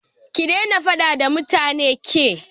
Ki daina faɗa da mutanen ki!